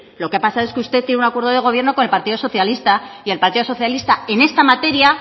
lo que ha pasado es que usted tiene un acuerdo de gobierno con el partido socialista y el partido socialista en esta materia